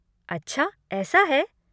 अच्छा ऐसा है?